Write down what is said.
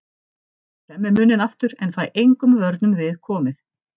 Ég klemmi munninn aftur en fæ engum vörnum við komið.